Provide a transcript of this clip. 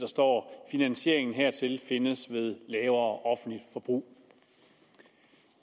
står finansieringen hertil findes ved lavere offentligt forbrug